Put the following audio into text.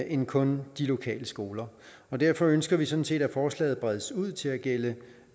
end kun de lokale skoler og derfor ønsker vi sådan set at forslaget bredes ud til at gælde